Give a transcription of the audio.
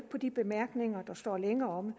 på de bemærkninger der står længere omme